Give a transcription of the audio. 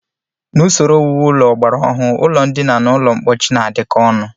N'usoro owuwu ụlọ ọgbara ọhụụ, ụlọndina na ụlọmkpochi na-adịkọ ọnụ